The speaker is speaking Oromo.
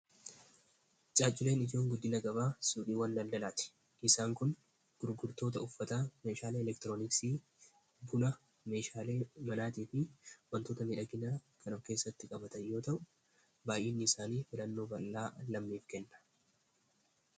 caaculeen ijoon guddila gabaa sudiiw wan laldalaati isaan kun gurgurtoota uffataa meeshaala elektiroonisii bula meeshaalee malaatii fi wantoota midhaginaa karab keessatti qabatan yoo ta'u baay'enni isaanii filannoo ballaa lammeef kenna